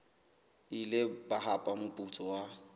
ile ba hapa moputso wa